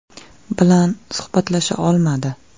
bilan suhbatlasha olmadi.